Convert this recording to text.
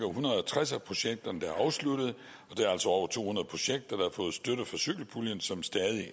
hundrede og tres af projekterne afsluttet og der er altså over to hundrede projekter der har fået støtte fra cykelpuljen som stadig